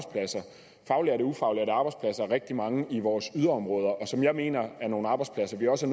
ufaglærte arbejdspladser rigtig mange i vores yderområder som jeg mener er nogle arbejdspladser vi også